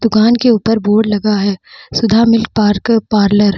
दुकान के ऊपर बोर्ड लगा है सुधा मिल्क पार्क पार्लर ।